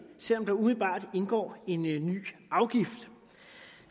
selv om der umiddelbart indgår en ny afgift